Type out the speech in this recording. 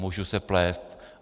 Můžu se plést.